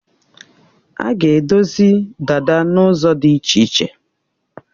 A ga-edozi dada n'ụzọ dị iche iche.